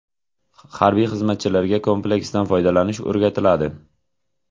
Harbiy xizmatchilarga kompleksdan foydalanish o‘rgatiladi.